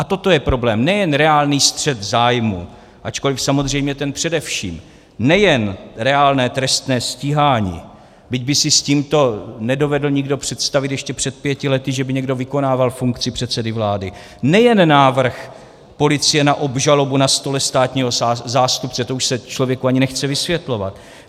A toto je problém - nejen reálný střet zájmů, ačkoli samozřejmě ten především, nejen reálné trestné stíhání, byť by si s tímto nedovedl nikdo představit ještě před pěti lety, že by někdo vykonával funkci předsedy vlády, nejen návrh policie na obžalobu na stole státního zástupce - to už se člověku ani nechce vysvětlovat.